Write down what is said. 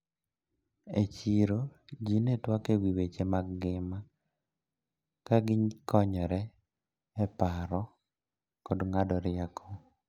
E chiro ji ne twak ewi weche mag ngima kagikonyre e paro kod ng`ado rieko.